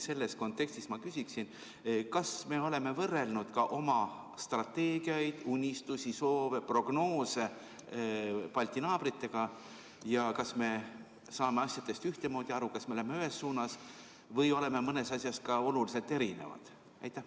Selles kontekstis ma küsiksin, kas me oleme võrrelnud ka oma strateegiaid, unistusi, soove ja prognoose Balti naabrite omadega ja kas me saame asjadest ühtemoodi aru, kas me läheme ühes suunas või oleme mõnes asjas ka oluliselt erinevad.